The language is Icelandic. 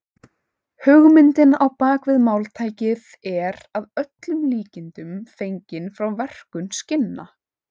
Hugmyndin á bak við máltækið er að öllum líkindum fengin frá verkun skinna.